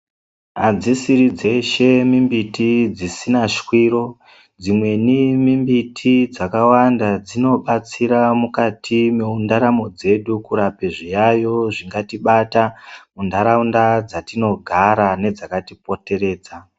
Adzishiridzeshe mimbiti dzisinashwiro, dzimweni miti dzakawanda dzinodetsera mukati mendaramo dzedu mukurape zviyaiyo zvingadai zveitibata muntaraunda dzetinogara nedzakatipoteredza.